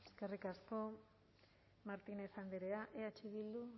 eskerrik asko martínez andrea eh bildu